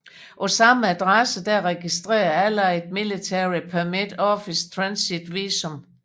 På samme adresse er registreret Allied Military Permit Office Transit Visum